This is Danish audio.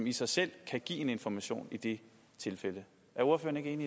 i sig selv kan give information i det tilfælde er ordføreren